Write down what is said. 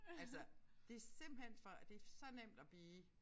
Altså det simpelthen for det så nemt at blive